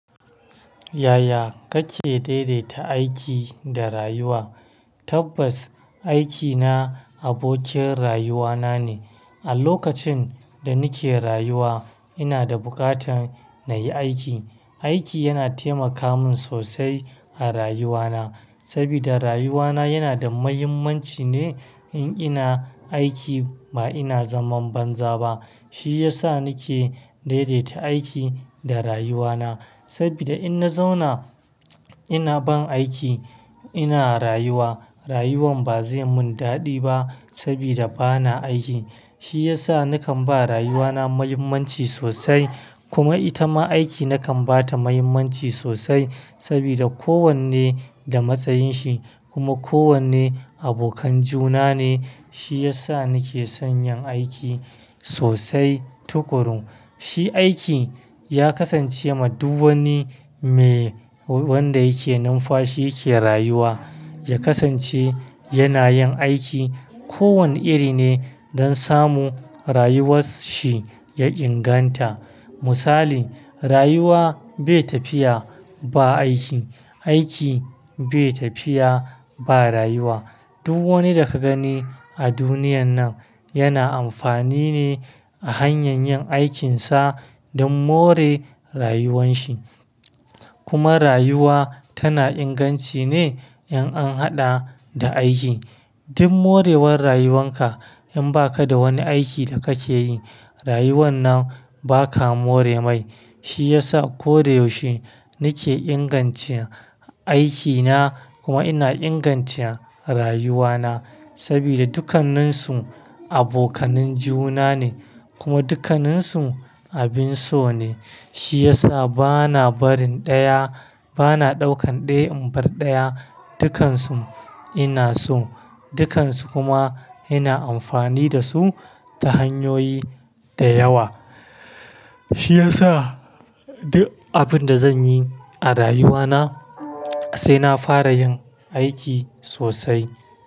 Yaya kake daidaita aiki da rayuwa? Tabbas aikina abokin rayuwana ne. A lokacin da nake rayuwa ina da buƙatar na yi aiki. Aiki yana taimaka min sosai a rayuwana saboda rayuwana yana da mahimmanci ne in ina aiki ba ina zaman banza ba. Shi ya sa nake daidaita aiki da rayuwana saboda in na zauna ina ban aiki ina rayuwa, rayuwan ba zai mun daɗi ba saboda bana aiki. Shi ya sa nakan ba rayuwana mahimmanci sosai kuma ita ma aiki nakan ba ta mahimmanci sosai saboda kowanne da matsayin shi kuma kowanne abokan juna ne. Shi ya sa nake son yin aiki sosai tukuru. Shi aiki ya kasance ma duk wani me wanda yake numfashi yake rayuwa. Ya kasance yana yin aiki kowane iri ne don samu rayuwarshi ya inganta. Misali, rayuwa bai tafiya ba aiki, aiki bai tafiya ba rayuwa. Duk wani da ka gani a duniyan nan yana amfani ne a hanyar yin aikinsa don more rayuwan shi. Kuma rayuwa tana inganci ne in an haɗa da aiki. Don more rayuwan ka in ba ka da wani aiki da kake yi, rayuwan nan ba ka more mai. Shi ya sa koyaushe nake ingancin aikina kuma ina ingancin rayuwana saboda dukkaninsu abokanan juna ne kuma dukkaninsu abin so ne. Shi ya sa bana barin ɗaya, bana ɗaukan ɗaya in bar ɗaya. Dukansu ina so, dukansu kuma ina amfani da su ta hanyoyi da yawa. Shi ya sa duk abin da zan yi a rayuwana sai na fara yin aiki sosai.